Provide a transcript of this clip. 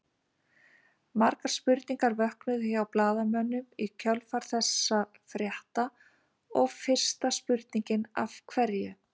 Margar spurningar vöknuðu hjá blaðamönnum í kjölfar þessa frétta og fyrsta spurningin Af hverju?